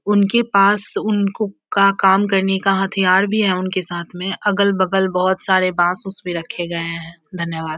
उनके पास उनको का काम करने का हथियार भी है उनके साथ में अगल-बगल बहोत सारे बाँस उसपे रखे गये है धन्यवाद ।